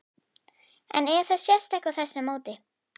En það sést ekki á þessu móti?